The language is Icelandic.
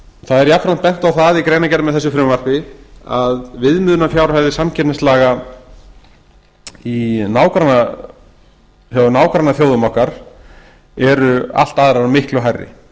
það er jafnframt bent á það í greinargerð með þessu frumvarpi að viðmiðunarfjárhæðir samkeppnislaga í nágrannaþjóðum okkar eru allt aðrar og miklu hærri